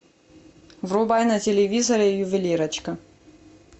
врубай на телевизоре ювелирочка